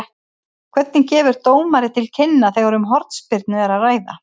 Hvernig gefur dómari til kynna þegar um hornspyrnu er að ræða?